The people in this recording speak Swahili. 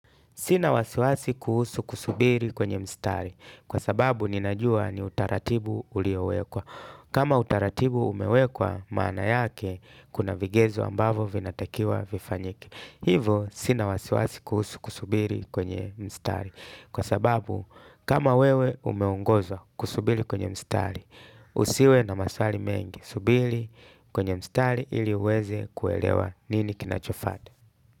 Sina wasiwasi kuhusu kusubiri kwenye mstari kwa sababu ninajua ni utaratibu uliowekwa. Kama utaratibu umewekwa maana yake kuna vigezo ambavo vinatakiwa vifanyike. Hivo sina wasiwasi kuhusu kusubiri kwenye mstari kwa sababu kama wewe umeungoza kusubiri kwenye mstari. Usiwe na maswali mengi subili kwenye mstari ili uweze kuelewa nini kinachofata.